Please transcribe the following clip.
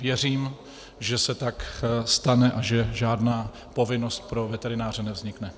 Věřím, že se tak stane a že žádná povinnost pro veterináře nevznikne.